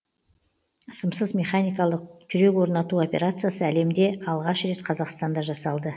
сымсыз механикалық жүрек орнату операциясы әлемде алғаш рет қазақстанда жасалды